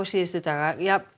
dag